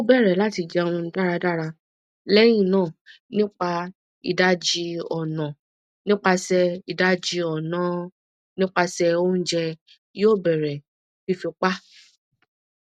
o bẹrẹ lati jẹun daradara lẹhinna nipa idaji ọna nipasẹ idaji ọna nipasẹ ounjẹ yoo bẹrẹ fifi pa